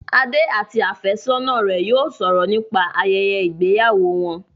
Adé àti àfẹ́sọ́nà rẹ̀ yóò sọ̀rọ̀ nípa ayẹyẹ ìgbéyàwó wọn